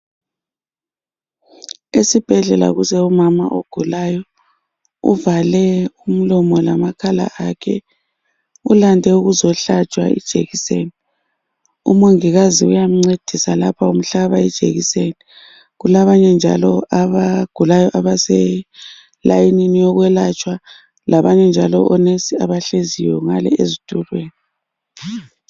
Esibhedlela kulomama ogulayo uvale umlomo lamakhala akhe ulande ukuzohlatshwa ijekiseni umongikazi uyamncedisa lapha umhlaba ijekiseni kulabanye njalo abagulayo abaselayinini uokwelaytshwa labanye njalo onensi abahleziyo ngale ezitulweni